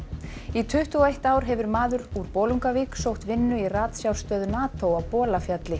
í tuttugu og eitt ár hefur maður úr Bolungarvík sótt vinnu í ratsjárstöð NATO á Bolafjalli